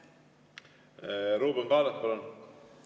Ruuben Kaalep, palun!